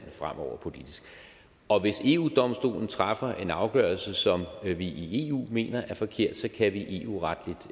fremover politisk og hvis eu domstolen træffer en afgørelse som vi vi i eu mener er forkert så kan vi eu retligt